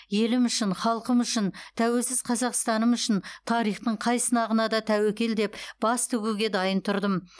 елім үшін халқым үшін тәуелсіз қазақстаным үшін тарихтың қай сынағына да тәуекел деп бас тігуге дайын тұрдым